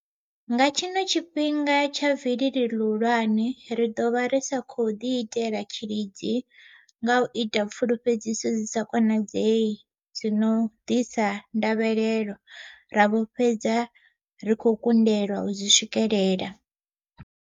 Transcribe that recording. Nga tshino tshifhinga tsha vilili ḽihulwane, ri ḓo vha ri sa khou ḓiitela tshilidzi nga u ita pfulufhedziso dzi sa konadzei dzi no ḓisa ndavhelelo, ra vho fhedza ri khou kundelwa u dzi swikelela.